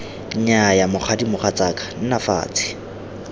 nnyaya mokgadi mogatsaka nna fatshe